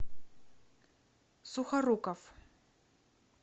сухоруков